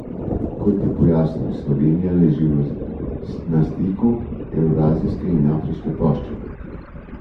Kot je pojasnil, Slovenija leži na stiku evrazijske in afriške plošče.